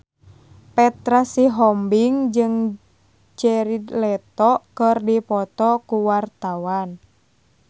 Petra Sihombing jeung Jared Leto keur dipoto ku wartawan